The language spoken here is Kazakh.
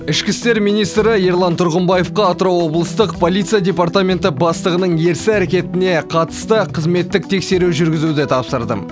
ішкі істер министрі ерлан тұрғымбаевқа атырау облыстық полиция департаменті бастығының ерсі әрекетіне қатысты қызметтік тексеру жүргізуді тапсырдым